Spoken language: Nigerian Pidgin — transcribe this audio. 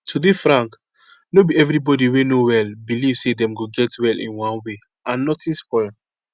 to dey frank no be everybody wey no well belief say dem go get well in one way and notin spoil